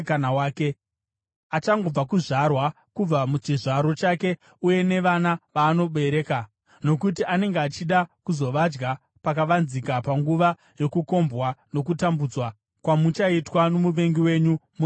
achangobva kuzvarwa kubva muchizvaro chake uye nevana vaanobereka. Nokuti anenge achida kuzovadya pakavanzika panguva yokukombwa nokutambudzwa kwamuchaitwa nomuvengi wenyu muri mumaguta enyu.